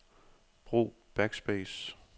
Brug backspace.